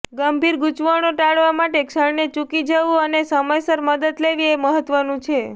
ગંભીર ગૂંચવણો ટાળવા માટે ક્ષણને ચૂકી જવું અને સમયસર મદદ લેવી એ મહત્વનું છે